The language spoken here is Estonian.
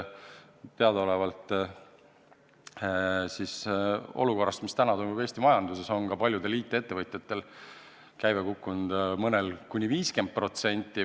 Teadaolevalt on olukorras, mis praegu Eesti majanduses valitseb, ka paljudel IT-ettevõtjatel käive kukkunud, mõnel kuni 50%.